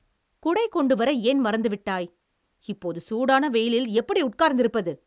குடை கொண்டு வர ஏன் மறந்துவிட்டாய்? இப்போது சூடான வெயிலில் எப்படி உட்கார்ந்திருப்பது?